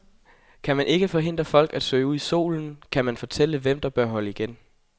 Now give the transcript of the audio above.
Kan man ikke forhindre folk at søge ud i solen, kan man måske fortælle hvem der bør holde igen.